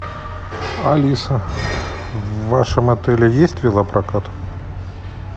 алиса в вашем отеле есть велопрокат